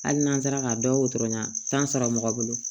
Hali n'an sera ka dɔ sɔrɔ yan mɔgɔ bolo